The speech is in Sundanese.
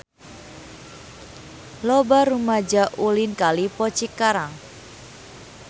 Loba rumaja ulin ka Lippo Cikarang